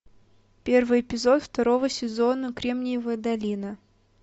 первый эпизод второго сезона кремниевая долина